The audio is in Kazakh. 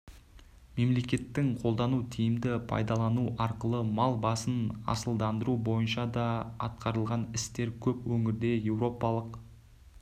мемлекеттің қолдауын тиімді пайдалану арқылы мал басын асылдандыру бойынша да атқарылған істер көп өңірде еуропалық